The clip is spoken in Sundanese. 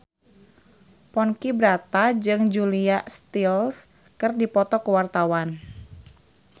Ponky Brata jeung Julia Stiles keur dipoto ku wartawan